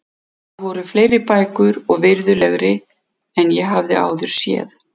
Þar voru fleiri bækur og virðulegri en ég hafði áður séð.